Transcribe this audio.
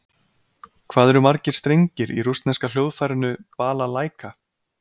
Hvað eru margir strengir í rússneska hljóðfærinu Balalæka?